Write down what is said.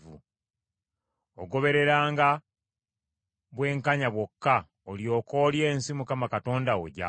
Ogobereranga bwenkanya bwokka olyoke olye ensi Mukama Katonda wo gy’akuwa.